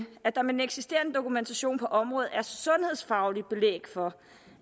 at der med den eksisterende dokumentation på området er sundhedsfagligt belæg for